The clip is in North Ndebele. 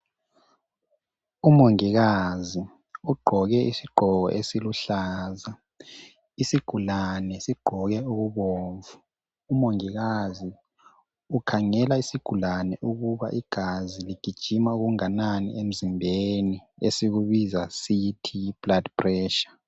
Umongikazi ugqoke isigqoko esiluhlaza. Isigulane sigqoke okubomvu. Umongikazi ukhangela isigulane ukuba igazi ligijima okunganani emzimbeni esikubiza sithi yi"Blood pressure".